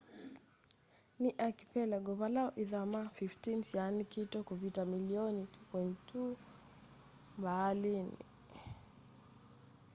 ni archipelago vala ve ithama 15 syaanikite kuvita milioni 2.2 km2 mbaalini